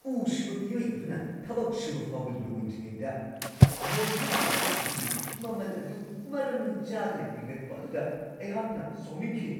ꯎ-ꯁꯨꯕ ꯃꯤꯑꯣꯏ ꯑꯗꯨꯅ ꯊꯕꯛ ꯁꯨꯕ ꯐꯥꯎꯕ ꯂꯣꯏꯗ꯭ꯔꯤꯉꯩꯗ ꯃꯣꯗ꯭ꯌꯨꯂꯔ ꯀꯤꯆꯟ ꯑꯗꯨꯒꯤ ꯃꯃꯜ ꯑꯗꯨ ꯃꯔꯝ ꯆꯥꯗꯅ ꯍꯦꯟꯒꯠꯄ ꯑꯗꯨꯗ ꯑꯩꯍꯥꯛꯅ ꯁꯥꯎꯅꯤꯡꯈꯤ ꯫